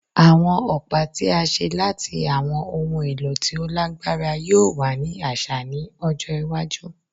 Awọn ọpa ti a ṣe lati awọn ohun elo ti o lagbara yoo wa ni aṣa ni ojo iwaju